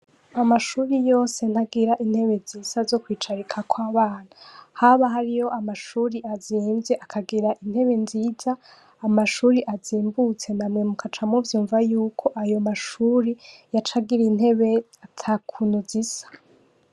Amashure yose ntagira intebe zisa zo kwicarikako abana haba hariyo amashure azimvye akagira intebe nziza amashure azimbutse namwe mukaca muvyumva yuko ayo mashure yaca agira intebe atakuntu zisa.